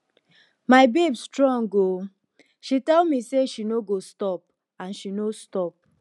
my babe strong oo she tell me say she no go stop and she no stop